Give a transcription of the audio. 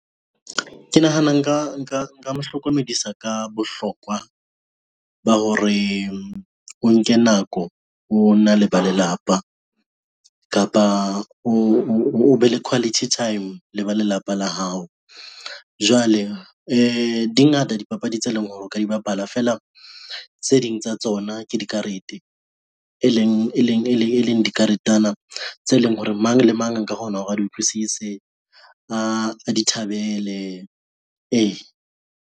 Ke nahana nka mo hlokomedisa ka bohlokwa ba hore o nke nako, o na le ba lelapa kapa o be le quality time le ba lelapa la hao. Jwale di ngata dipapadi tse leng hore o ka di bapala feela tse ding tsa tsona ke dikarete, e leng dikaretenyana tse leng hore mang le mang a nka kgona hore a di utlwisise, a di thabele e.